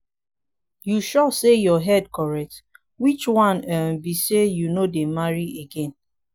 you sure say your head correct? which one um be say you no dey marry again?